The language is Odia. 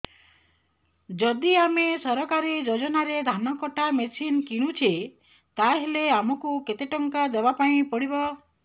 ଯଦି ଆମେ ସରକାରୀ ଯୋଜନାରେ ଧାନ କଟା ମେସିନ୍ କିଣୁଛେ ତାହାଲେ ଆମକୁ କେତେ ଟଙ୍କା ଦବାପାଇଁ ପଡିବ